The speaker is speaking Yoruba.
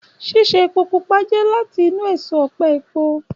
Ṣíṣe epo pupa jẹ́ láti inú èso ọ̀pẹ epo